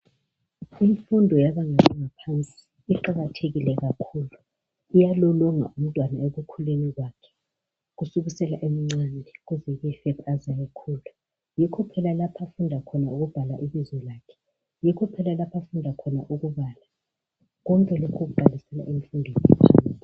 Imfundo yebanga laphansi iqakathekile kakhulu iyalolonga umntwana ekukhuleni kwakhe kusukisela ebuncaneni bakhe ukuze kuyefika aze ayekhula yikho phela lapha afunda khona ukubhala ibizo lakhe yikho phela lapho afunda khona ukubala.